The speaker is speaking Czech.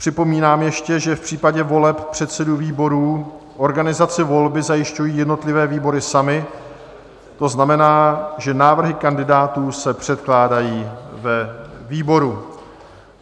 Připomínám ještě, že v případě voleb předsedů výborů organizaci volby zajišťují jednotlivé výbory samy, to znamená, že návrhy kandidátů se předkládají ve výboru.